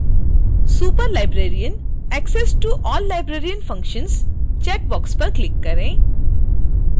superlibrarian access to all librarian functions checkbox पर click करें